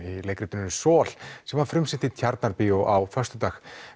í leikritinu sem var frumsýnt í Tjarnarbíó á föstudag